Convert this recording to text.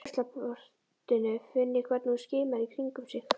Úr ruslaportinu finn ég hvernig hún skimar í kringum sig.